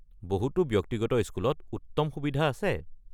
বহুতো ব্যক্তিগত স্কুলত উত্তম সুবিধা আছে।